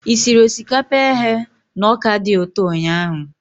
Ị siri osikapa eghe na ọka dị ụtọ ụnyahụ?